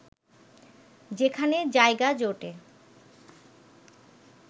যেখানে জায়গা জোটে